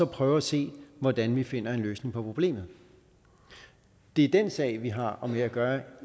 prøve at se hvordan vi finder en løsning på problemet det er den sag vi har med at gøre